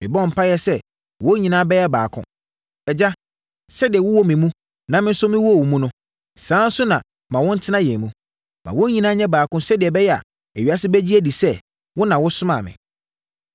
Mebɔ mpaeɛ sɛ wɔn nyinaa bɛyɛ baako. Agya, sɛdeɛ wowɔ me mu na me nso mewɔ wo mu no, saa ara nso na ma wɔntena yɛn mu. Ma wɔn nyinaa nyɛ baako sɛdeɛ ɛbɛyɛ a, ewiase bɛgye adi sɛ, wo na wosomaa me.